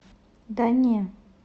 да не